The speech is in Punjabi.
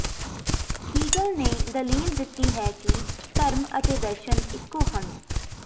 ਹੀਗਲ ਨੇ ਦਲੀਲ ਦਿੱਤੀ ਹੈ ਕਿ ਧਰਮ ਅਤੇ ਦਰਸ਼ਨ ਇੱਕੋ ਹਨ